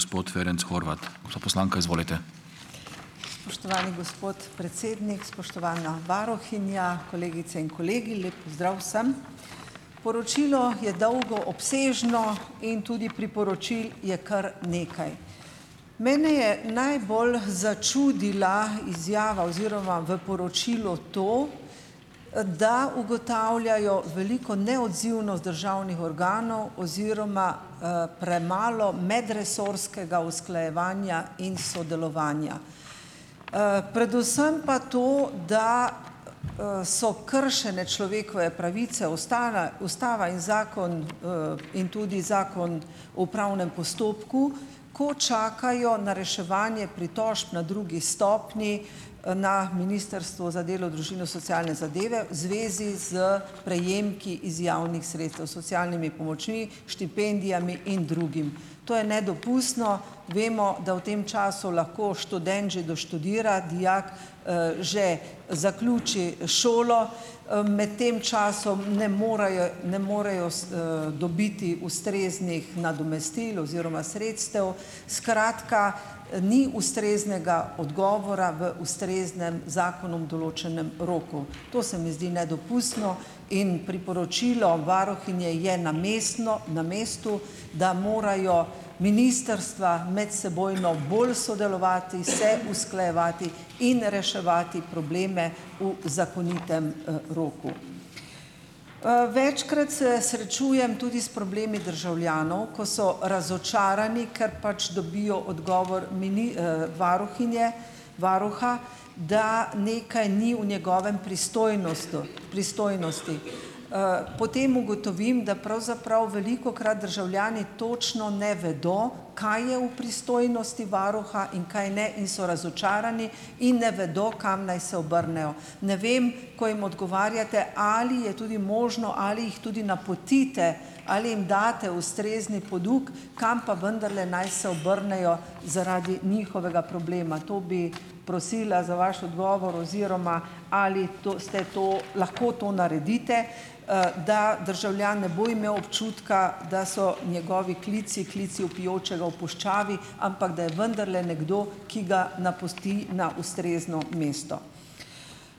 Spoštovani gospod predsednik, spoštovana varuhinja, kolegice in kolegi! Lep pozdrav vsem! Poročilo je dolgo, obsežno in tudi priporočil je kar nekaj. Mene je najbolj začudila izjava oziroma v poročilu to, da ugotavljajo veliko neodzivnost državnih organov oziroma, premalo medresorskega usklajevanja in sodelovanja. Predvsem pa to, da, so kršene človekove pravice, ustala, ustava in zakon, in tudi zakon o upravnem postopku, ko čakajo na reševanje pritožb na drugi stopnji, na Ministrstvu za delo, družino socialne zadeve zvezi z prejemki iz javnih sredstev, socialnimi pomočmi, štipendijami in drugim. To je nedopustno. Vemo, da v tem času lahko študent že doštudira, dijak, že zaključi šolo. Med tem časom ne morejo ne morejo dobiti ustreznih nadomestil oziroma sredstev. Skratka, ni ustreznega odgovora v ustreznem zakonom določenem roku. To se mi zdi nedopustno. In priporočilo varuhinje je namestno na mestu, da morajo ministrstva medsebojno bolj sodelovati, se usklajevati in reševati probleme v zakonitem, roku. Večkrat se srečujem tudi s problemi državljanov, ko so razočarani, ker pač dobijo odgovor varuhinje, varuha, da nekaj ni v njegovi pristojnosti. Pristojnosti. Potem ugotovim, da pravzaprav velikokrat državljani točno ne vedo, kaj je v pristojnosti varuha in kaj ne, in so razočarani in ne vedo, kam naj se obrnejo. Ne vem, ko jim odgovarjate, ali je tudi možno ali jih tudi napotite ali jim date ustrezni poduk, kam pa vendarle naj se obrnejo zaradi njihovega problema. To bi prosila za vaš odgovor oziroma ali to ste, to lahko to naredite, da državljan ne bo imel občutka, da so njegovi klici klici vpijočega v puščavi, ampak da je vendarle nekdo, ki ga napoti na ustrezno mesto.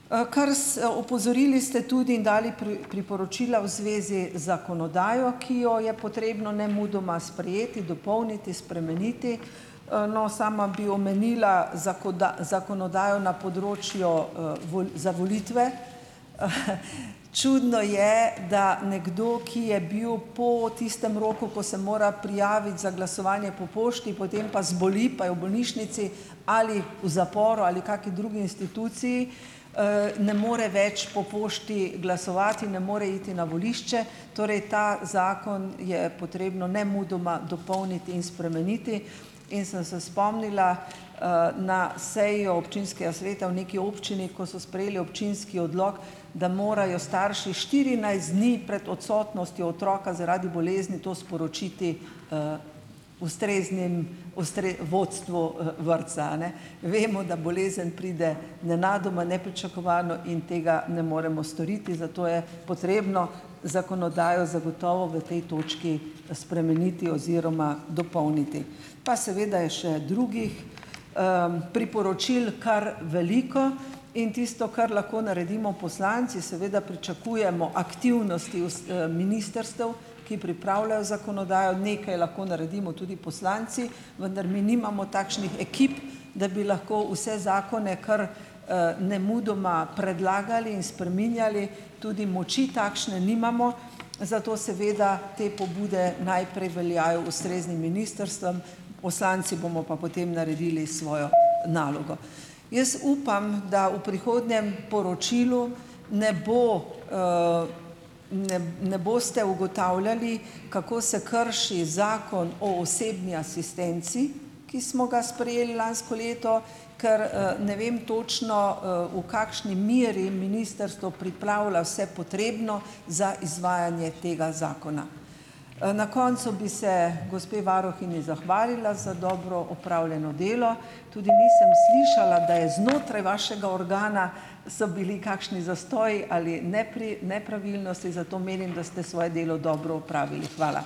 Krs. Opozorili ste tudi in dali priporočila v zvezi zakonodajo, ki jo je potrebno nemudoma sprejeti, dopolniti, spremeniti. No, sama bi omenila zakonodajo na področju, za volitve. Čudno je, da nekdo, ki je bil po tistem roku, ko se mora prijaviti za glasovanje po pošti, potem pa zboli pa je v bolnišnici ali v zaporu ali kakšni drugi instituciji, ne more več po pošti glasovati, ne more iti na volišče. Torej ta zakon je potrebno nemudoma dopolniti in spremeniti in sem se spomnila, na sejo občinskega sveta v neki občini, ko so sprejeli občinski odlok, da morajo starši štirinajst dni pred odsotnostjo otroka zaradi bolezni to sporočiti ustreznim vodstvu, vrtca, a ne. Vemo, da bolezen pride nenadoma, nepričakovano in tega ne moremo storiti, zato je potrebno zakonodajo zagotovo v tej točki spremeniti oziroma dopolniti. Pa seveda je še drugih, priporočil kar veliko in tisto, kar lahko naredimo poslanci, seveda pričakujemo aktivnosti ministrstev, ki pripravljajo zakonodajo. Nekaj lahko naredimo tudi poslanci, vendar mi nimamo takšnih ekip, da bi lahko vse zakone kar, nemudoma predlagali in spreminjali, tudi moči takšne nimamo, zato seveda te pobude najprej veljajo ustreznim ministrstvom, poslanci bomo pa potem naredili svojo nalogo. Jaz upam, da v prihodnjem poročilu ne bo, ne ne boste ugotavljali, kako se krši zakon o osebni asistenci, ki smo ga sprejeli lansko leto, ker, ne vem točno, v kakšni meri ministrstvo pripravlja vse potrebno za izvajanje tega zakona. Na koncu bi se gospe varuhinji zahvalila za dobro opravljeno delo. Tudi nisem slišala, da je znotraj vašega organa, so bili kakšni zastoji ali nepravilnosti, zato menim, da ste svoje delo dobro opravili. Hvala.